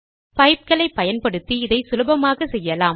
பைப்களை பயன்படுத்தி இதை சுலபமாக செய்யலாம்